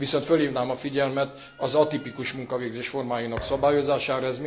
Viszont fölhívnám a figyelmet az atipikus munkavégzés formáinak szabályozására.